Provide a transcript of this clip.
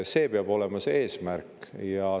See peab olema see eesmärk.